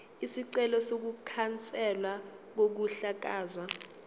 isicelo sokukhanselwa kokuhlakazwa